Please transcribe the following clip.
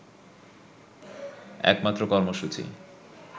একমাত্র কর্মসূচি